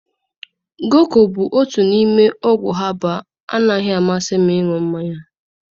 Goko bụ otu n'ime ọgwụ habalụ anaghị amasị m ịṅụ mmanya.